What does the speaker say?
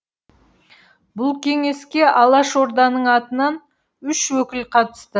бұл кеңеске алашорданың атынан үш өкіл қатысты